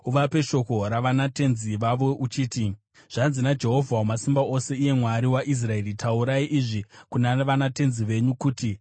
Uvape shoko ravanatenzi vavo uchiti, ‘Zvanzi naJehovha Wamasimba Ose iye Mwari waIsraeri, “Taurai izvi kuna vanatenzi venyu kuti: